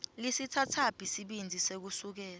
lisitsatsaphi sibindzi sekusukela